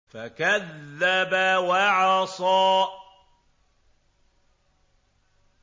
فَكَذَّبَ وَعَصَىٰ